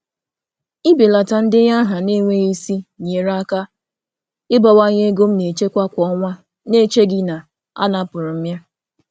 Ịbelata ndenye aha na-adịghị mkpa enyerela m aka ịbawanye nchekwa m kwa ọnwa na-enweghị mmetụta nke enweghị ihe.